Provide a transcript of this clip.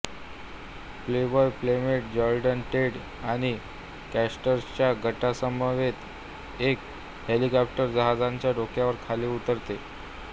Playboy playmate Jordan Tate आणि कॅटरर्सच्या गटासमवेत एक हेलिकॉप्टर जहाजांच्या डेकवर खाली उतरते